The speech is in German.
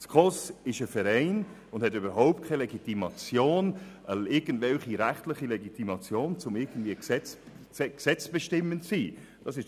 Die SKOS ist ein Verein und hat überhaupt keine rechtliche Legitimation, irgendwie gesetzesbestimmend zu sein.